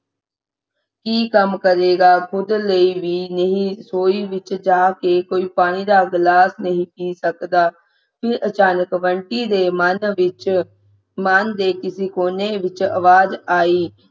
ਕੀ ਕੰਮ ਕਰੇਗਾ ਖੁਦ ਲਈ ਵੀ ਨਹੀਂ ਰਸੋਈ ਵਿਚ ਜਾ ਕੇ ਪਾਣੀ ਦਾ ਗਲਾਸ ਨਹੀਂ ਸੀ ਸਕਦਾ ਤੇ ਅਚਾਨਕ ਬੰਟੀ ਦੇ ਮਨ ਵਿੱਚ ਮਨ ਦੇ ਕਿਸੇ ਕੋਨੇ ਵਿੱਚ ਅਵਾਜ਼ ਆਈ